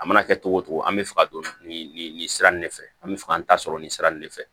A mana kɛ cogo o cogo an bɛ fɛ ka don nin nin sira nin de fɛ an bɛ fɛ ka n ta sɔrɔ nin sira in de fɛ